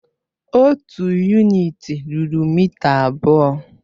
Otu yunịti rúrú mịta abụọ.